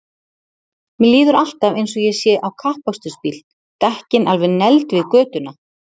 Mér líður alltaf eins og ég sé á kappakstursbíl, dekkin alveg negld við götuna.!